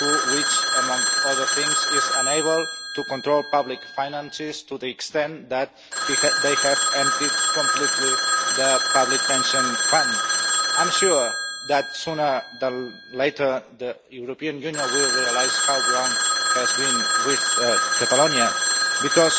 which, among other things, is unable to control public finances, to the extent that it has completely emptied the public pension fund. I am sure that, sooner or later, the European Union will realise how wrong it has been with Catalonia because